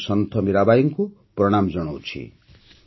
ମୁଁ ସନ୍ଥ ମୀରାବାଈଙ୍କୁ ପ୍ରଣାମ ଜଣାଉଛି